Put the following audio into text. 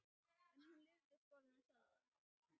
En hún lifði í skólanum sjálfum.